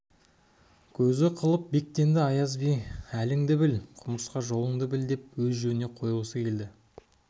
көзі қылып бектенді аяз би әліңді біл құмырсқа жолыңды біл деп өз жөніне қойғысы келді